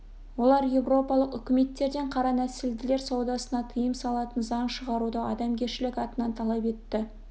олар еуропалық үкіметтерден қара нәсілділер саудасына тыйым салатын заң шығаруды адамгершілік атынан талап етті